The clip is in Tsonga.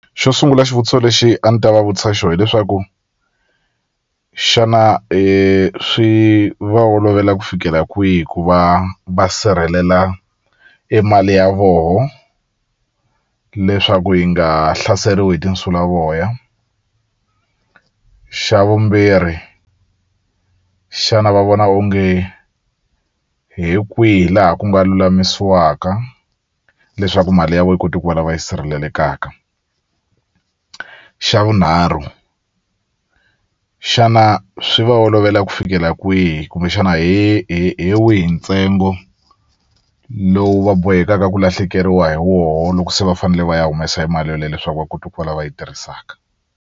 Xo sungula xivutiso lexi a ni ta va vutisa xo hileswaku xana swi va olovela ku fikela kwihi ku va va sirhelela e mali ya voho leswaku yi nga hlaseriwi hi tinsulavoya xa vumbirhi xana va vona onge hi kwihi laha ku nga lulamisiwaka leswaku mali ya vo yi koti ku va lava yi sirhelelekaka xa vunharhu xana swi va olovela ku fikela kwihi kumbexana hi hi hi wihi ntsengo lowu va bohekaka ku lahlekeriwa hi woho loko se va fanele va ya humesa e mali yoleyo leswaku va kota ku va lava yi tirhisaka.